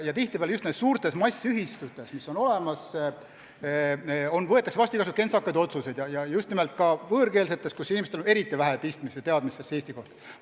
Tihtipeale just väga suurtes ühistutes võetakse vastu igasuguseid kentsakaid otsuseid, eriti just ühistutes, kus on palju muukeelseid inimesi, kellel on vähe teadmisi Eesti seaduste kohta.